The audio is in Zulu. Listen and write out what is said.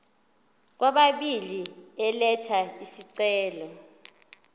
kwababili elatha isicelo